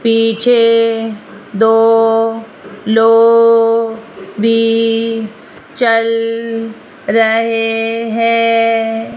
पीछे दो लोग भी चल रहे है।